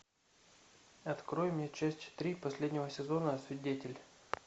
открой мне часть три последнего сезона свидетель